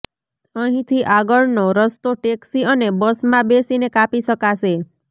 અહીંથી આગળનો રસ્તો ટેક્સી અને બસમાં બેસીને કાપી શકાશે